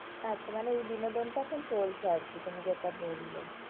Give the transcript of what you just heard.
আচ্ছা মানে এই বিনোদনটা খুব চলছে আরকি, তুমি যেটা বললে।